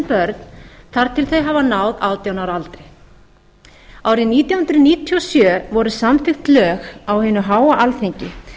börn þar til þau hafa náð átján ára aldri árið nítján hundruð níutíu og sjö voru samþykkt lög á hinu háa alþingi